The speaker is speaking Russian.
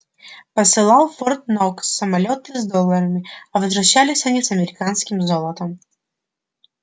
посылал в форт-нокс самолёты с долларами а возвращались они с американским золотом